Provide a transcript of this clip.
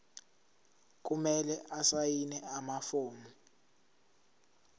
kumele asayine amafomu